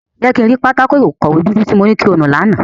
Jẹ ki n ri pátákó-ikọwe dudu ti mo ni ki o nu làná!